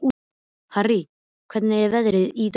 Harrý, hvernig er veðrið í dag?